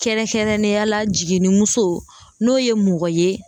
Kɛrɛnkɛrɛnnenya la jiginnimuso n'o ye mɔgɔ ye